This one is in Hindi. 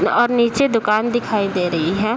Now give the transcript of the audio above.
और नीचे दोकान दिखाई दे रही है।